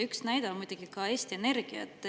Üks näide on muidugi ka Eesti Energia.